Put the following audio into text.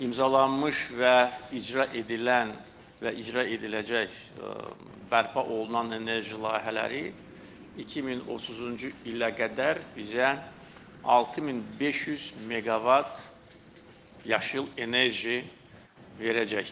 İmzalanmış və icra edilən və icra ediləcək bərpa olunan enerji layihələri 2030-cu ilə qədər bizə 6500 meqavat yaşıl enerji verəcəkdir.